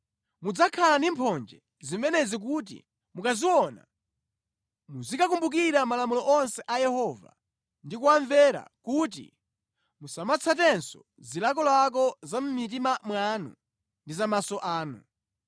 Mudzakhala ndi mphonje zimenezi kuti mukaziona muzikakumbukira malamulo onse a Yehova ndi kuwamvera kuti musamatsatenso zilakolako za mʼmitima mwanu ndi za maso anu.